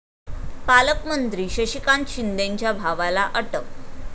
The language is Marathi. पालकमंत्री शशिकांत शिंदेंच्या भावाला अटक